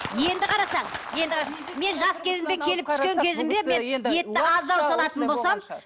енді қарасаң енді қарасаң мен жас кезімде келіп түскен кезімде мен етті аздау салатын болсам